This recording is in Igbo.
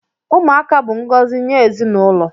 Ụmụaka bụ ngọzi nye ezinụlọ